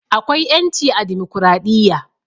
Akwai 'ƴanci a dimokradiyya.